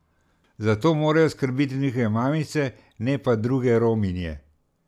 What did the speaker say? Za to morajo skrbeti njihove mamice, ne pa druge Rominje.